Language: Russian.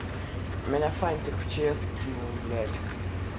меня фантик в чс кинул блядь